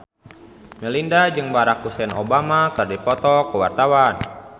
Melinda jeung Barack Hussein Obama keur dipoto ku wartawan